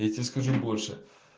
я тебе скажу больше